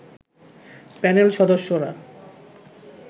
panel সদস্যরা